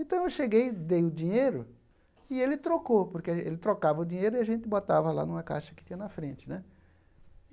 Então eu cheguei, dei o dinheiro e ele trocou, porque ele ele trocava o dinheiro e a gente botava lá numa caixa que tinha na frente né.